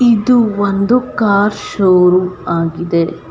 ಇದು ಒಂದು car show room ಆಗಿದೆ .